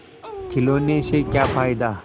खिलौने से क्या फ़ायदा